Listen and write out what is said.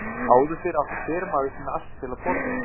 Áður fyrr átti hver maður sinn ask til að borða úr.